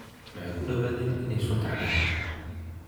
Waxay kudawadheen in aay sunta caban.